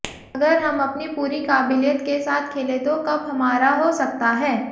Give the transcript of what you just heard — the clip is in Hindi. अगर हम अपनी पूरी काबिलियत के साथ खेले तो कप हमारा हो सकता है